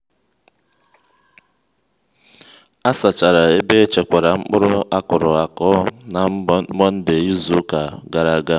a sachara ebe echekwara mkpụrụ akụrụaku na mọnde izu ụka gara aga